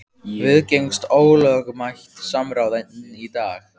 Viðgengst ólögmætt samráð enn í dag?